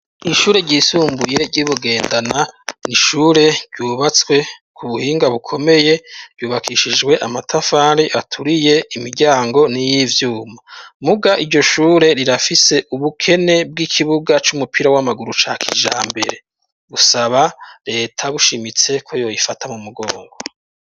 Ishure ryisumbuye ry'i Bugendana, n’ishure ryubatswe ku buhinga bukomeye ryubakishijwe amatafari aturiye imiryango n'iy'ivyuma, muga iryo shure rirafise ubukene bw'ikibuga c'umupira w'amaguru ca kijambere, gusaba reta bushimitse ko yo ifata mu mugongo.